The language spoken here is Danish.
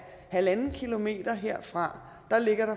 halvanden kilometer herfra